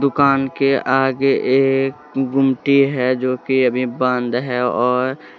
दुकान के आगे एक गुमटी है जो कि अभी बंद है और--